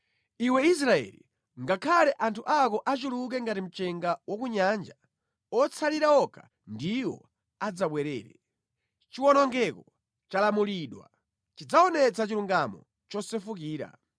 Iwe Israeli, ngakhale anthu ako achuluke ngati mchenga wa ku nyanja, otsala okha ndiwo adzabwerere. Chiwonongeko chalamulidwa, chidzaonetsa chilungamo chosefukira.